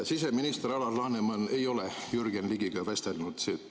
Siseminister Alar Laneman ei ole Jürgen Ligiga vestelnud.